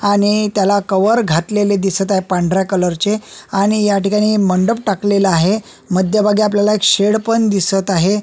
आणि त्याला कव्हर घातलेले दिसत आहे पांढऱ्या कलरचे आणि या ठिकाणी मंडप टाकलेला आहे मध्यभागी आपल्याला एक शेड पण दिसत आहे.